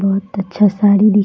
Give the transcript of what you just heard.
बहुत अच्छा सारी ली --